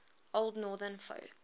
old northern folk